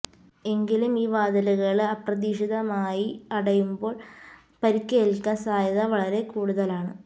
എങ്കിലും ഈ വാതിലുകള് അപ്രതീക്ഷിതമായി അടയുമ്പോള് പരിക്കേല്ക്കാന് സാധ്യത വളരെ കൂടുതലുമാണ്